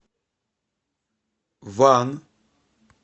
ван